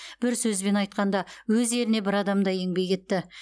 бір сөзбен айтқанда өз еліне бір адамдай еңбек етті